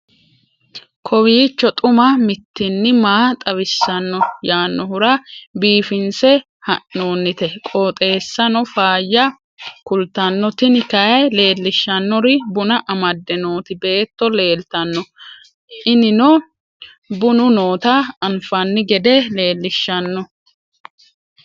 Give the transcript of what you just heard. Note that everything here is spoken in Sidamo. kowiicho xuma mtini maa xawissanno yaannohura biifinse haa'noonniti qooxeessano faayya kultanno tini kayi leellishshannori buna amadde nooti beetto leeltanno inino bunu noota anfanni gede leelishshanno